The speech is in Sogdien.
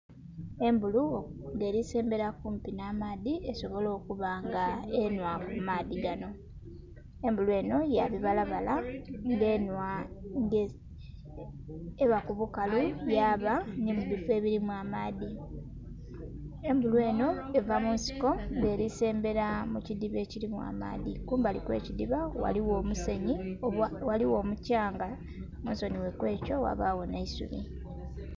Embulu nga eri sembera kumpi n'amaadhi esobole okubanga enhwa kumaadhi gano, embulu eno yabibalabala nga eba kubukalu yaba nimubifo ebirimu amaadhi. Embulu eno eva munsiko nga erisembera mukidhiba ekirimu amaadhi, kumbali okwekidhiba ghaligho omukyanga wabagho n'eisubi.